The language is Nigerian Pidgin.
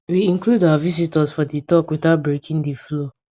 we include our visitors for di talk without breaking di flow